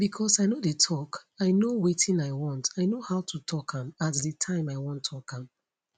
becos i no dey tok i know wetin i want i know how to tok am at di time i wan tok am